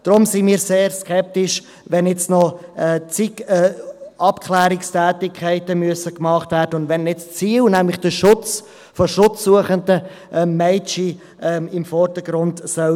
Deshalb sind wir sehr skeptisch, wenn jetzt noch zig Abklärungstätigkeiten gemacht werden müssen und nicht das Ziel, nämlich der Schutz von schutzsuchenden Mädchen im Vordergrund stehen soll.